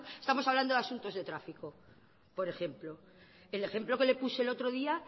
estamos hablando de asuntos de tráfico por ejemplo el ejemplo que le puse el otro día